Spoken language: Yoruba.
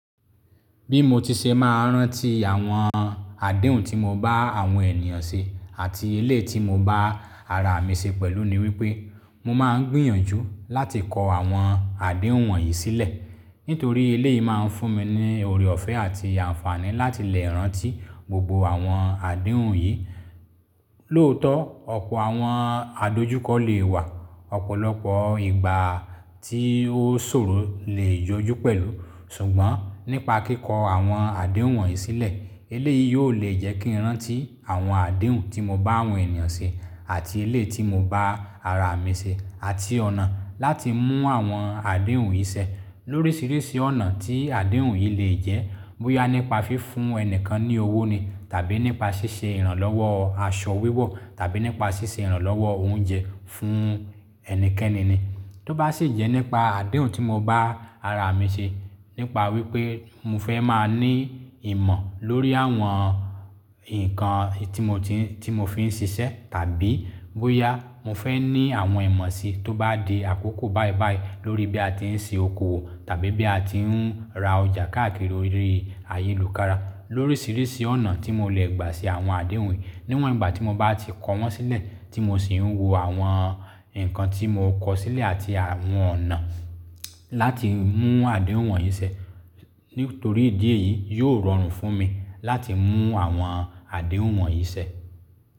Bí mo ti ṣe máa rántí àwọn àdéhùn tí mo bá àwọn ènìyàn ṣe àti eléyi ti mo bá ara mi ṣe pẹ̀lú ni wípé mo máa ń gbìyànjú láti kọ àwọn àdéhùn wọ̀nyí sílẹ̀ nítorí eléyìí máa ń fún mi ní oore ọ̀fẹ́ àti àǹfààní láti lè rántí gbogbo àwọn àdéhùn yìí. Lóòótọ́, ọ̀pọ̀ àwọn adójúkọ lè wà, ọ̀pọ̀lọpọ̀ ìgbà tí ó ṣòro lè yọjú pẹ̀lú. Ṣùgbọ́n nípa kíkọ àwọn àdéhùn wọ̀nyí sílẹ̀, eléyìí yóò le jẹ́ kí n rántí àwọn àdéhùn tí mo bá àwọn ènìyàn ṣe àti eléyi tí mo bá ara mi ṣe àti ọ̀nà láti mú àwọn àdéhùn yìí ṣẹ. Loríṣiríṣi ọ̀nà tí àdéhùn yìí lè jẹ́, bóyá nípa fi fún ẹni kan ní owó ni tàbí nípa ṣíṣe ìrànlọ́wọ́ aṣọ wíwọ̀ tàbí nípa ṣíṣe ìrànlọ́wọ́ oúnjẹ fún ẹnikẹ́ni ni. Tó bá sì jẹ́ nípa àdéhùn tí mo bá ara mi ṣe, nípa wípé mo fẹ́ máa ní ìmọ̀ lórí àwọn ǹkan tí mo fi ń ṣiṣẹ́ tàbí bóyá mo fẹ́ ní àwọn ìmọ̀ si tó bá di àkókò báibái lórí bí a ti ń se oko owo tàbí bí a ti ń ra ọjà káàkiri ayélujára. Loríṣiríṣi ọ̀nà tí mo le gbà ṣe àwọn àdéhùn yìí níwọ̀n ìgbà tí mo bá ti kọ wọ́n sílẹ̀ tí mo sì ń wo àwọn ǹkan tí mo kọ sílẹ̀ àti àwọn ọ̀nà láti mú àdéhùn wọ̀nyí ṣẹ nítorí ìdí èyí yóò rọrùn fún mi láti mú àwọn àdéhùn wọ̀nyí ṣẹ.